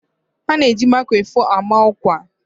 A na eji maikrofon ama ọkwa